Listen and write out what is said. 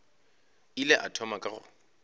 ile a thoma ka go